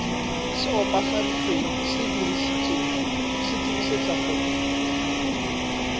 se opafaditsweng se dirisetswa go